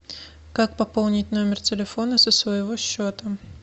как пополнить номер телефона со своего счета